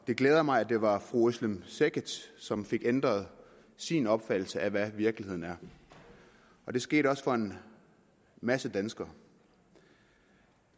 glæder mig at det var fru özlem cekic som fik ændret sin opfattelse af hvad virkeligheden er og det skete også for en masse danskere